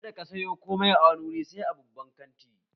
Kada ka sayo komai a wani wuri sai a babban kanti!